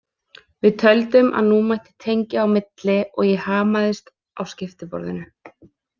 Við töldum að nú mætti tengja á milli og ég hamaðist á skiptiborðinu.